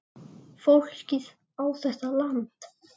Fólkið á þetta land.